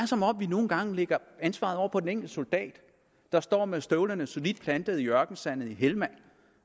som om vi nogle gange lægger ansvaret over på den enkelte soldat der står med støvlerne solidt plantet i ørkensandet i helmand